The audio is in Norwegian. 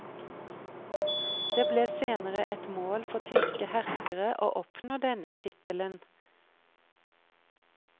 Det ble senere et mål for tyske herskere å oppnå denne tittelen.